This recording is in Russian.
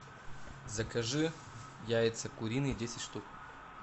закажи яйца куриные десять штук